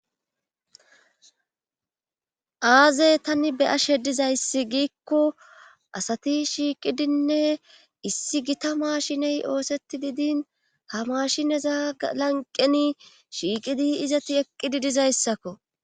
Aze tani be'ashe diza azeigiikko asati shiiqidinne issi gita maashiney ooseti diidin ha maashine zaa lanqeni shiiqidi izati eqqi dizayssakko.